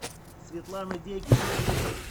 светлана дегиль